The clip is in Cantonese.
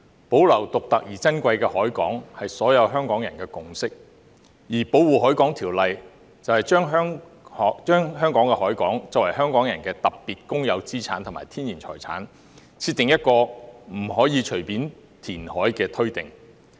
保留獨特而珍貴的海港，是所有香港人的共識，而《保護海港條例》就香港的海港作為香港人的特別公有資產及天然財產，設定了不可隨便填海的推定。